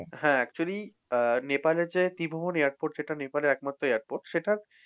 হ্যাঁ actually ah নেপালের যে ত্রিভুবন airport যেটা নেপালের একমাত্র airport সেটা,